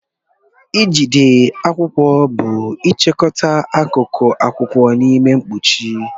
Ijide akwụkwọ bụ ịchịkọta akụkụ akwụkwọ n'ime mkpuchi.